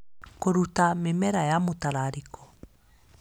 Kũruta mĩmera ya mũtararĩko